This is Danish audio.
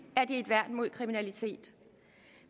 er et værn imod kriminalitet